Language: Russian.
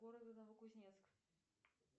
города новокузнецк